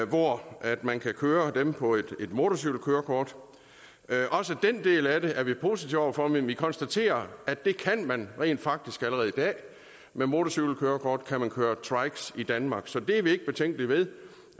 hvor man kan køre dem på et motorcykelkørekort også den del af det er vi positive over for men vi konstaterer at det kan man rent faktisk allerede i dag med motorcykelkørekort kan man køre trikes i danmark så det er vi ikke betænkelige ved